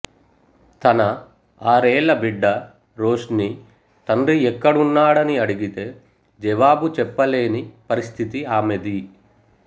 తన ఆరేళ్ళ బిడ్డ రోష్ని తండ్రి ఎక్కడున్నాడని అడిగితే జవాబు చెప్పలేని పరిస్థితి ఆమెది